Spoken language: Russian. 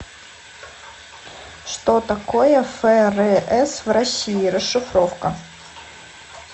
что такое фрс в россии расшифровка